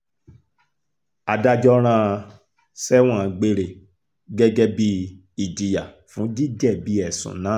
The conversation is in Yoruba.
adájọ́ rán an sẹ́wọ̀n gbére gẹ́gẹ́ bíi ìjìyà fún jíjẹ̀bi ẹ̀sùn náà